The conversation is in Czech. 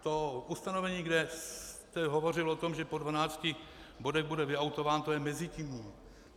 To ustanovení, kde jste hovořil o tom, že po dvanácti bodech bude vyautován, to je mezitímní.